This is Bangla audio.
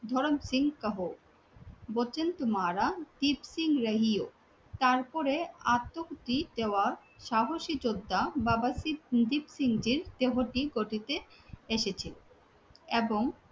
ধরণ সিং কাহো বাচান তুমহারা দীপসিং যাহিহো। তারপরে আত্মকুড়ি দেওয়া সাহসী যোদ্ধা বাবা দীপসিং জি র দেহটি কুঠিতে এসেছিলো। এবং